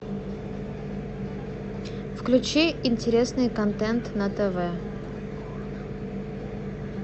включи интересный контент на тв